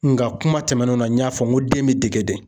Nga kuma tɛmɛnenw na n y'a fɔ n ko den bɛ dege de.